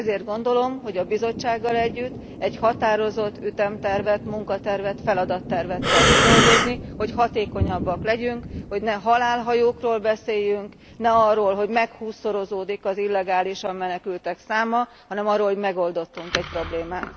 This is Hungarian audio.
Ezért gondolom, hogy a Bizottsággal együtt egy határozott ütemtervet, munkatervet, feladattervet kell kidolgozni, hogy hatékonyabbak legyünk, hogy ne halálhajókról beszéljünk, ne arról, hogy meghússzorozódik az illegálisan menekültek száma, hanem arról, hogy megoldottunk egy problémát.